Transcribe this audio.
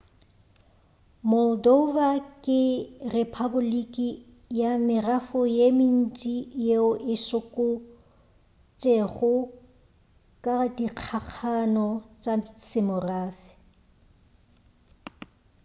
moldova ke rephapoliki ya merafo ye mentši yeo e sokotšego ka dikgakgano tša semorafe